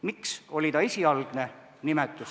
Miks oli ta esialgne?